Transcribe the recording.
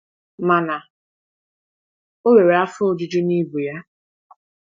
Mana ọ nwere afọ ojuju na ibu ya.